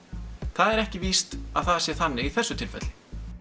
það er ekki víst að það sé þannig í þessu tilfelli